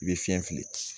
I bɛ fiɲɛ fili